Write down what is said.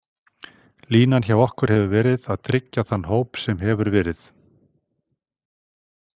Línan hjá okkur hefur verið að tryggja þann hóp sem hefur verið.